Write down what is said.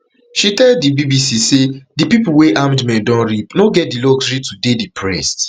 she tell di bbc say di pipo wey armed men don rape no get di luxury to dey depressed